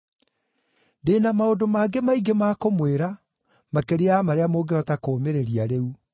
“Ndĩ na maũndũ mangĩ maingĩ ma kũmwĩra, makĩria ya marĩa mũngĩhota kũũmĩrĩria rĩu.